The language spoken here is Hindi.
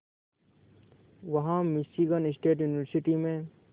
वहां मिशीगन स्टेट यूनिवर्सिटी में